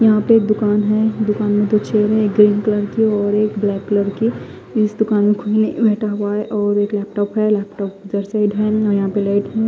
यहा पे का दुकान है दुकान में तो है एक ग्रीन कलर की और एक ब्लैक कलर की इस दुकान में कोई नही बेठा हुआ है और एक लैपटॉप है लैपटॉप इदर साइड है और यहा पे लाइट है।